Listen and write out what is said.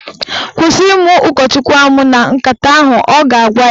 "Kwụsị ịmụ ụkọchukwu amụ na nkata ahụ" Ọ ga-agwa ya.